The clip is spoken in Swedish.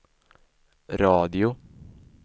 radio